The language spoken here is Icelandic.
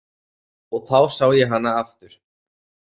Og þá sá ég hana aftur.